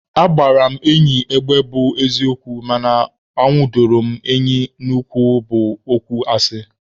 Agbara m enyi egbe bụ eziokwu mana anwudoro m enyi n'ụkwụ bụ okwu asị